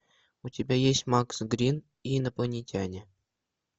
у тебя есть макс грин и инопланетяне